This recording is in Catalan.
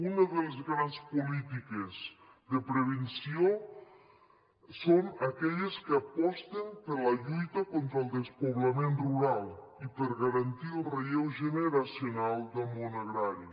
una de les grans polítiques de prevenció són aquelles que aposten per la lluita contra el despoblament rural i per garantir el relleu generacional del món agrari